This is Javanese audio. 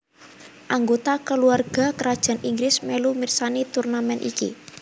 Anggota Kulawarga Krajan Inggris mèlu mirsani turnamèn iki